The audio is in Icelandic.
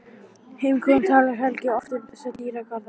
Heimkominn talar Helgi oft um þessa dýrðardaga.